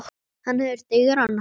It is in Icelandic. Hann hefur digran háls.